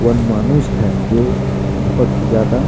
one मानुस है जो बहुत ही ज्यादा--